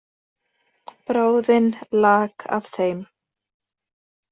Bráðin lak af þeim.